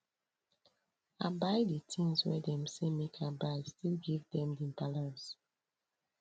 i buy di tins wey dem sey make i buy still give dem di balance